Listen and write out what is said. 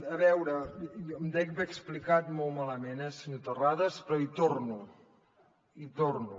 a veure em dec haver explicat molt malament senyor terrades però hi torno hi torno